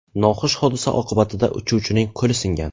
Noxush hodisa oqibatida uchuvchining qo‘li singan.